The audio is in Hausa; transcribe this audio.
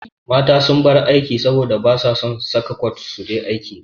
Mata sun bar aiki saboda basa son saka kwat suje aiki.